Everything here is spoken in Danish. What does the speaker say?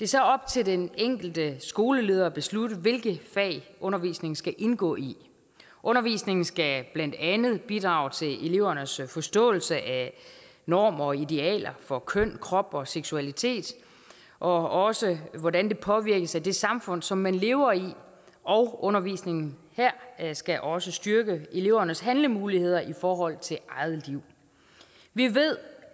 så op til den enkelte skoleleder at beslutte hvilke fag undervisningen skal indgå i undervisningen skal blandt andet bidrage til elevernes forståelse af normer og idealer for køn krop og seksualitet og også hvordan forståelsen påvirkes af det samfund som man lever i undervisningen her skal også styrke elevernes handlemuligheder i forhold til eget liv vi ved